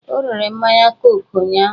O rere mmanya koku ụnyụahụ.